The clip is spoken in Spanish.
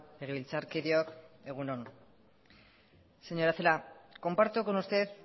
legebiltzarkideok egun on señora celaá comparto con usted